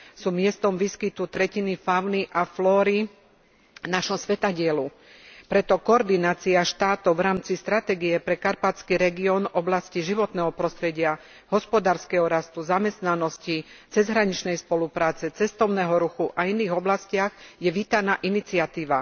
Sú miestom výskytu tretiny fauny a flóry nášho svetadielu, preto koordinácia štátov v rámci stratégie pre karpatský región v oblasti životného prostredia, hospodárskeho rastu, zamestnanosti, cezhraničnej spolupráce, cestovného ruchu a iných oblastiach je vítaná iniciatíva.